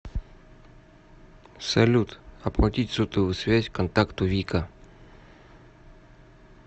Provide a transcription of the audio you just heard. салют оплатить сотовую связь контакту вика